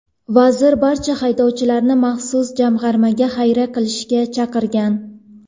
Vazir barcha xohlovchilarni maxsus jamg‘armaga xayriya qilishga chaqirgan.